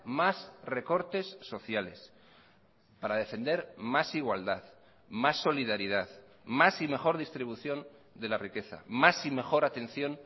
más recortes sociales para defender más igualdad más solidaridad más y mejor distribución de la riqueza más y mejor atención